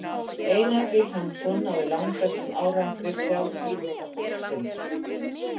einar vilhjálmsson náði langbestum árangri frjálsíþróttafólksins